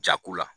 Jako la